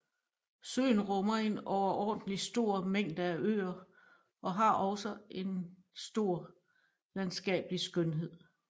Søen rummer en overordentlig stor mængde af øer og har også stor landskabelig skønhed